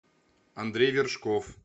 андрей вершков